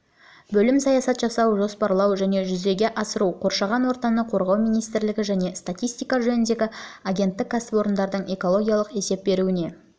бөлім саясат жасау жоспарлау және жүзеге асыру қоршаған ортаны қорғау министрлігі және статистика жөніндегі агенттік кәсіпорындардың экологиялық есеп беруіне